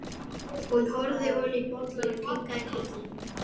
Hún horfði ofan í bollann og kinkaði kolli.